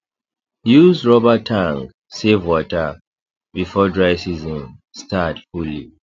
use rubber tank save water before dry season start fully